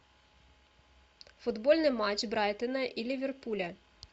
футбольный матч брайтона и ливерпуля